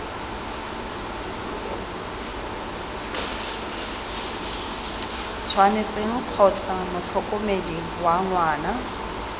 tshwanetseng kgotsa motlhokomedi wa ngwana